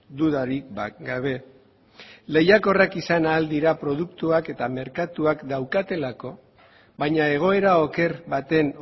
dudarik gabe lehiakorrak izan ahal dira produktuak eta merkatuak daukatelako baina egoera oker baten